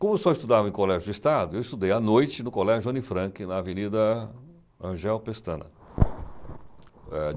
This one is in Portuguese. Como eu só estudava em colégio de Estado, eu estudei à noite no colégio Anifranque, na Avenida Angel Pestana.